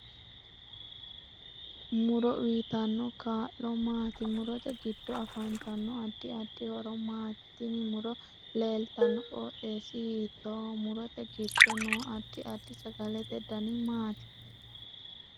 Muro uyiitanno kaa'lo maati murote giddo afanttanno addi addi horo maati tini muro leelttanno qoxeesi hiitooho murote giddo noo addi addi sagalete danni maati